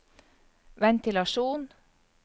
ventilasjon